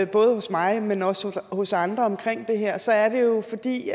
både hos mig men også hos andre omkring det her så er det jo fordi